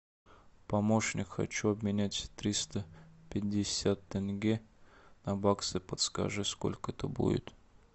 помощник хочу обменять триста пятьдесят тенге на баксы подскажи сколько это будет